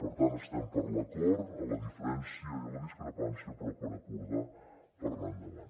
per tant estem per l’acord en la diferència i en la discrepància però per acordar per anar endavant